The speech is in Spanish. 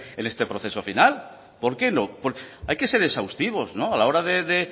en este proceso final por qué no hay que ser exhaustivos a la hora de